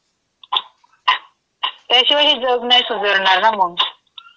त्याशिवाय हे जग नाई सुधारणार मंग.